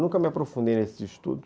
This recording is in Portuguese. Eu nunca me aprofundei nesse estudo.